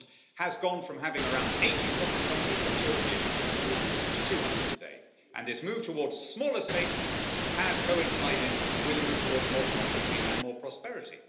The world has gone from having around 80 sovereign countries when the European Union was formed to 200 today, and this move towards smaller states has coincided with a move towards more democracy and more prosperity.